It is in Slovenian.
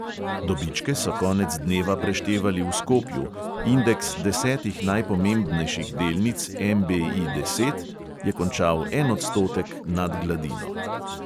Dobičke so konec dneva preštevali v skopju, indeks desetih najpomembnejših delnic MBI deset je končal en odstotek nad gladino.